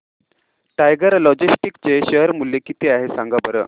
tiger logistics चे share मूल्य किती आहे सांगा बरं